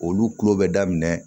Olu kulo bɛ daminɛ